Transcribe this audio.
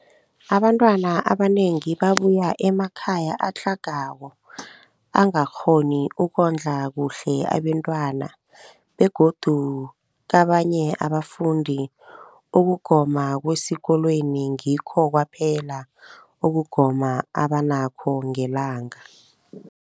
Abantwana abanengi babuya emakhaya atlhagako angakghoni ukondla kuhle abentwana, begodu kabanye abafundi, ukugoma kwesikolweni ngikho kwaphela ukugoma abanakho ngelanga.